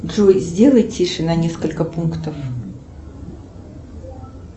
джой сделай тише на несколько пунктов